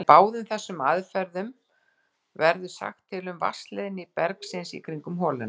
Með báðum þessum aðferðum verður sagt til um vatnsleiðni bergsins í kringum holuna.